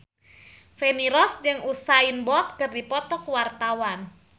Feni Rose jeung Usain Bolt keur dipoto ku wartawan